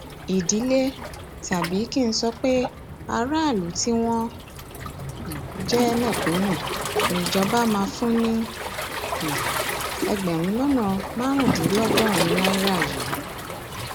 ìdílé tàbí kí n sọ pé aráàlú tí wọn um jẹ mẹkúnù níjọba máa fún ní um ẹgbẹrún lọnà márùndínlọgọrin náírà yìí